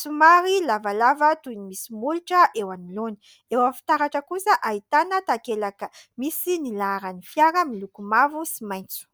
somary lavalava toy ny misy molotra eo anoloany, eo amin'ny fitaratra kosa ahitana takelaka misy ny laharan'ny fiara miloko mavo sy maitso.